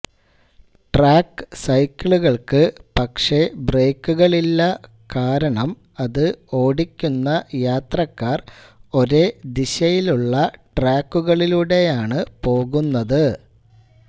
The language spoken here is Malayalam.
ട്രാക്ക് സൈക്കിളുകൾക്ക് പക്ഷെ ബ്രേക്കുകളില്ല കാരണം അത് ഓടിക്കുന്ന യാത്രക്കാർ ഒരേ ദിശയിലുള്ള ട്രാക്കുളിലൂടെയാണ് പോകുന്നത്